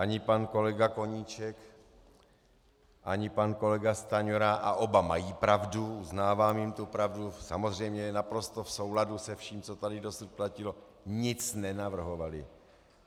Ani pan kolega Koníček ani pan kolega Stanjura - a oba mají pravdu, uznávám jim tu pravdu, samozřejmě, je naprosto v souladu se vším, co tady dosud platilo - nic nenavrhovali.